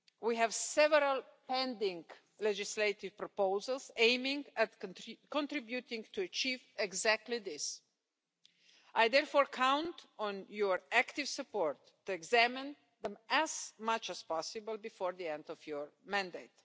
We have several pending legislative proposals aimed at contributing to achieving exactly this. I therefore count on your active support to examine them as much as possible before the end of your mandate.